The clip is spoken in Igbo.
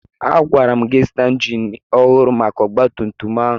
Agwara m gị zụta injin ọhụrụ maka ọgbatumtum ahụ!